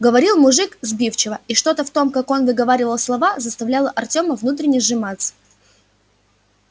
говорил мужик сбивчиво и что-то в том как он выговаривал слова заставляло артёма внутренне сжиматься